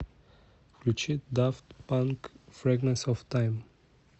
включи дафт панк фрэгментс оф тайм